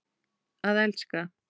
Að elska.